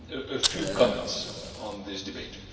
A few comments on this debate.